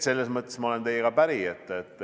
Selles mõttes ma olen teiega päri.